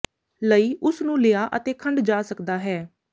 ਲਈ ਉਸ ਨੂੰ ਲਿਆ ਅਤੇ ਖੰਡ ਜਾ ਸਕਦਾ ਹੈ